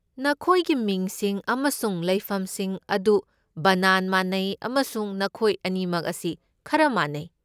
ꯅꯈꯣꯏꯒꯤ ꯃꯤꯡꯁꯤꯡ ꯑꯃꯁꯨꯡ ꯂꯩꯐꯝꯁꯤꯡ ꯑꯗꯨ ꯕꯅꯥꯟ ꯃꯥꯟꯅꯩ, ꯑꯃꯁꯨꯡ ꯅꯈꯣꯏ ꯑꯅꯤꯃꯛ ꯑꯁꯤ ꯈꯔ ꯃꯥꯟꯅꯩ꯫